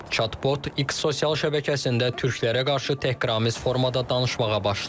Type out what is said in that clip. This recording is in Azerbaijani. Chatbot X sosial şəbəkəsində türklərə qarşı təhqiramiz formada danışmağa başlayıb.